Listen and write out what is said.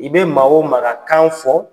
I bɛ maa o maa ka kan fɔ